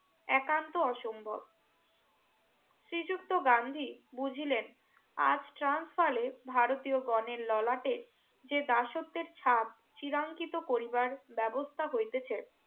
একান্ত আসম্ভব শ্রী যুক্ত গান্ধী বুঝিলেন আজ ট্রান্স ফালে ভারতীয় গনের ললাটে যে দাসত্বের ছাপ চিরাঞ্চিতো করিবার ব্যবস্থা হইতেছে